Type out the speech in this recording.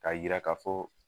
K'a yira ka fɔ